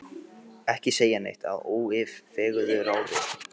Ekki segja neitt að óyfirveguðu ráði!